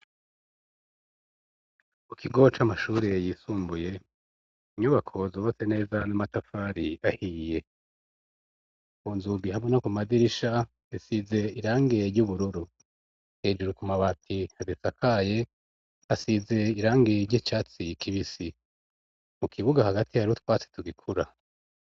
K’ukigo c’amashuri yisumbuye inyubakozo bose neza n'amatafari ahiye unzubihamo no ku madirisha asize irangeye ry'ubururu hejuru ka mabati azisakaye asize irangeye ry' icatsi kibisi mu kibuga ati yari utwatse tugikura.